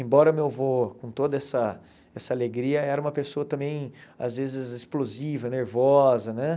Embora meu avô, com toda essa essa alegria, era uma pessoa também, às vezes, explosiva, nervosa, né?